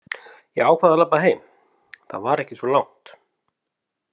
Ég ákvað að labba heim, það var ekki svo langt.